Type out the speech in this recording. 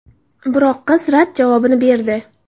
Biroq qiz rad javobini berdi.